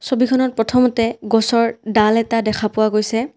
ছবিখনত প্ৰথমতে গছৰ ডাল এটা দেখা পোৱা গৈছে।